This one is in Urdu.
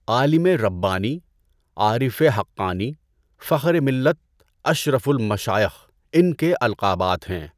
عالم ربانی، عارف حقانی، فخر ملت، اشرف المشائخ ان کے القابات ہیں۔